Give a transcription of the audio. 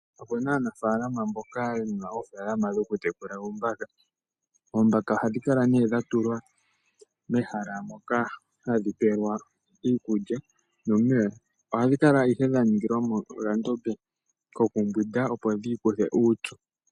Okuna aanafaalama mboka yena oofaalama dhoku tekula oombaka, oombaka oha dhi kala nee dhatulwa mehala moka hadhi pewelwa iikulya nomeya. Ohadhi kala ihe dha ningilwa mo okandombe kokumbwida opo dhi ikuthe uupyu.